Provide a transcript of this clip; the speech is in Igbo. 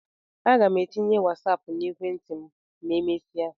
A ga m etinye Wasáápu na ekwentị m ma emesia